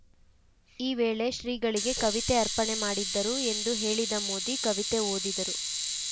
ಈ ವೇಳೆ ಶ್ರೀಗಳಿಗೆ ಕವಿತೆ ಅರ್ಪಣೆ ಮಾಡಿದ್ದರು ಎಂದು ಹೇಳಿದ ಮೋದಿ ಕವಿತೆ ಓದಿದರು